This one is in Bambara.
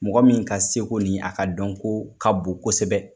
Mɔgɔ min ka seko ni a ka dɔnko ka bon kosɛbɛ.